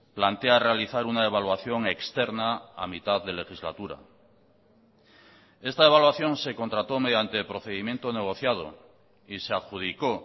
plantea realizar una evaluación externa a mitad de legislatura esta evaluación se contrató mediante procedimiento negociado y se adjudicó